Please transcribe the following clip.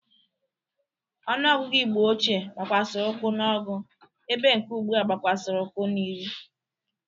Ọnụọgụgụ Igbo ochie gbakwasịrị ụkwụ n'ọgụ ebe nke ugbu a gbakwasịrị ukwu n'iri.